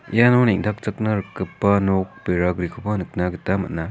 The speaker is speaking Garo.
iano neng·takchakna rikgipa nok beragrikoba nikna gita man·a.